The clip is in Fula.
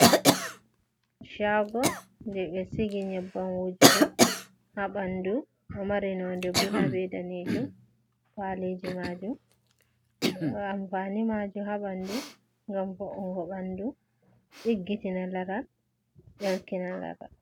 Caago, jey ɓe sigi nyebbam wojugo haa ɓanndu, ɗo mari nonnde bulu be daneejum, faleji maju ampaani maajum haa ɓanndu ngam fownugo ɓanndu, ɗiggitina laral, ɗelkina laral.